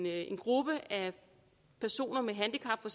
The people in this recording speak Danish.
er en gruppe af personer med handicap for